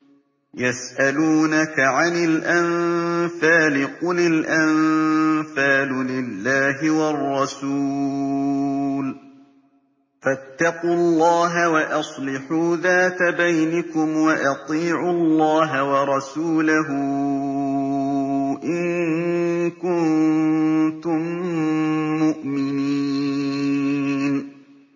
يَسْأَلُونَكَ عَنِ الْأَنفَالِ ۖ قُلِ الْأَنفَالُ لِلَّهِ وَالرَّسُولِ ۖ فَاتَّقُوا اللَّهَ وَأَصْلِحُوا ذَاتَ بَيْنِكُمْ ۖ وَأَطِيعُوا اللَّهَ وَرَسُولَهُ إِن كُنتُم مُّؤْمِنِينَ